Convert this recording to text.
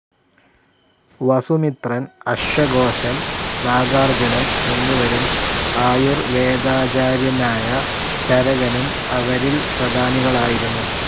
വസു മിത്രൻ, Ashvaghoshan, Nagarjunan എന്നിവരും ആയുർ വേദാജാര്യനായ ചരകനും അവരിൽ പ്രധാനികളായിരുന്നു.